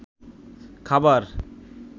খাবার